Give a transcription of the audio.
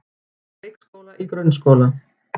Úr leikskóla í grunnskóla